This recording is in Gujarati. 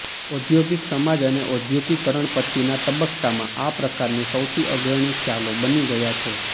ઔદ્યોગિક સમાજ અને ઔદ્યોગિકરણ પછીના તબક્કામાં આ પ્રકારની સૌથી અગ્રણી ખ્યાલો બની ગયા છે